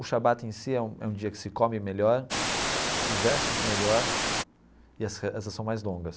O Shabbat em si é um é um dia que se come melhor, se veste melhor e as rezas são mais longas.